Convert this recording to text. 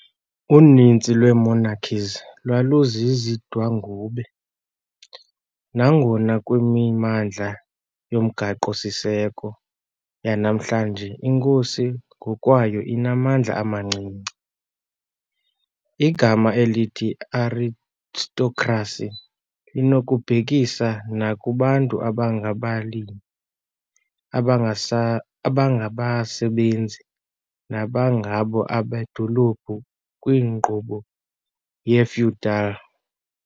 Uninzi lwee monarchies lwaluzizidwangube, nangona kwimimandla yomgaqo-siseko yanamhlanje inkosi ngokwayo inamandla amancinci. Igama elithi "aristocracy" linokubhekisa nakubantu abangabalimi, abangasa abangabasebenzi, nabangengabo abedolophu kwinkqubo ye-feudal .